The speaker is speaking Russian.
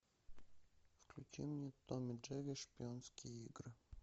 включи мне том и джерри шпионские игры